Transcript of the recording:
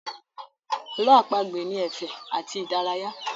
Ààlọ́ àpagbè ni ẹ̀fẹ̀ àti ìdárayá